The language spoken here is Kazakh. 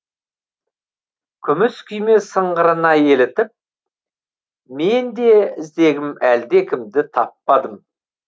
күміс күйме сыңғырына елітіп мен де іздегім әлдекімді таппадым